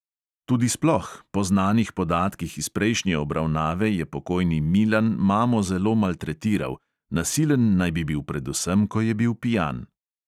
Tudi sploh, po znanih podatkih iz prejšnje obravnave je pokojni milan mamo zelo maltretiral, nasilen naj bi bil predvsem, ko je bil pijan.